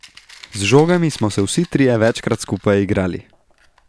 Z žogami smo se vsi trije večkrat skupaj igrali.